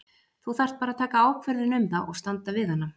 Þú þarft bara að taka ákvörðun um það og standa við hana.